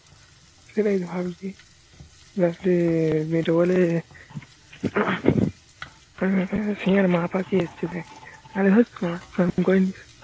সেটাই ভাবছি